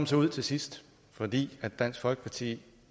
så ud til sidst fordi dansk folkeparti